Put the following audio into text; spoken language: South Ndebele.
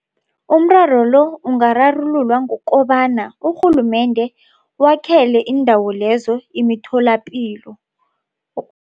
Umraro lo ungararululwa ngokobana urhulumende wakhele iindawo lezo imitholapilo.